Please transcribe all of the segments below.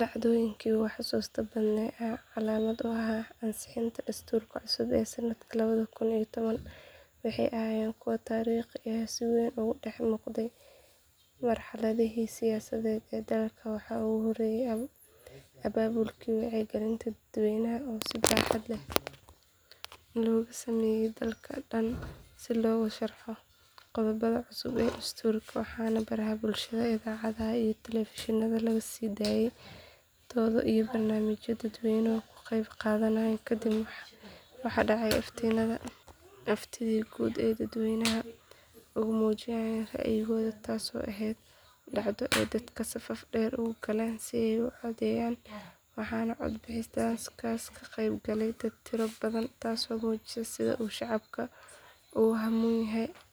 Dhacdooyinka ugu xususta badnaa ee calaamad u ahaa ansixintii dastuurka cusub ee sanadka laba kun iyo toban waxay ahaayeen kuwo taariikhi ah oo si weyn uga dhex muuqday marxaladihii siyaasadeed ee dalka waxaa ugu horreeyay abaabulkii wacyigelinta dadweynaha oo si baaxad leh looga sameeyay dalka dhan si loogu sharxo qodobada cusub ee dastuurka waxaana baraha bulshada idaacadaha iyo telefishinada laga sii daayay dooddo iyo barnaamijyo dadweynuhu ka qaybqaadanayeen kadib waxaa dhacay aftidii guud ee dadweynuhu ku muujinayeen ra'yigooda taasoo ahayd dhacdo ay dadku safaf dhaadheer u galeen si ay u codeeyaan waxaana cod bixintaas ka qeybgalay dad tiro badan taasoo muujisay sida uu shacabka ugu hamuun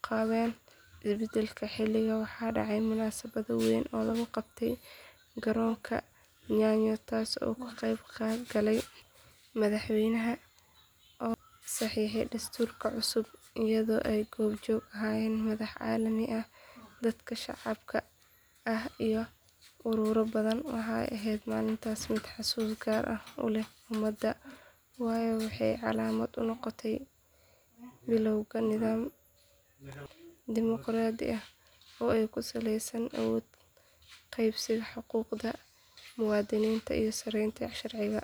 qabeen isbedel xilligaas waxaa dhacday munaasabad weyn oo lagu qabtay garoonka nyayo taasoo uu ka qeybgalay madaxweynaha oo saxiixay dastuurka cusub iyadoo ay goob joog ka ahaayeen madax caalami ah dadka shacabka ah iyo ururro badan waxay ahayd maalintaas mid xusuus gaar ah u leh ummadda waayo waxay calaamad u noqotay bilowga nidaam dimoqraadi ah oo ku saleysan awood qaybsiga xuquuqda muwaadiniinta iyo sareynta sharciga.